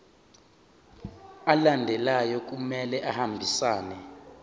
alandelayo kumele ahambisane